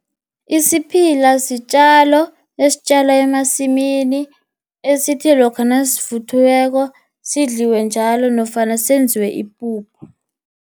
Isiphila sitjalo esitjalwa emasimini, esithe lokha nasivuthiweko, sidliwe njalo nofana senziwe ipuphu.